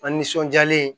An nisɔndiyalen